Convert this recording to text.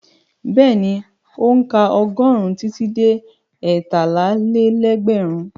Bẹ́ẹ̀ni, ó ń ka ọgọ́rùn-ún títí dé ẹtálá-lé-lẹ́gbẹ̀rún.